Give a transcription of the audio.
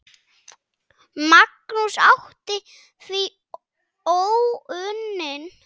Magnús átti því óunnin verk.